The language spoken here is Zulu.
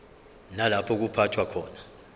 nalapho kuphathwa khona